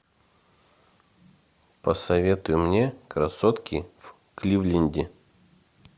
посоветуй мне красотки в кливленде